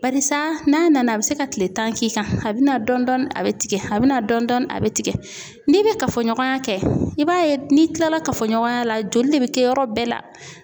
Barisa n'a nana, a bɛ se ka tile tan k'i kan, a bɛna dɔɔnin a bɛ tigɛ a bɛ na dɔɔnin dɔɔnin a bɛ tigɛ, n'i bɛ kafoɲɔgɔnya kɛ, i b'a ye n'i kilala kafoɲɔgɔnya la, joli de bɛ kɛ yɔrɔ bɛɛ la.